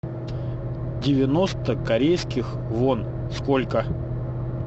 девяносто корейских вон сколько